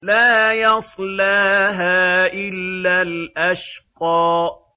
لَا يَصْلَاهَا إِلَّا الْأَشْقَى